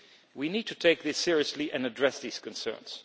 We need to take this seriously and address these concerns.